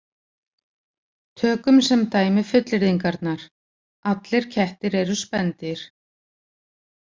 Tökum sem dæmi fullyrðingarnar: Allir kettir eru spendýr